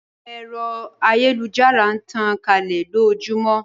Pẹpẹ ẹ̀rọ ayélujára n tàn kálẹ̀ lójóojúmọ́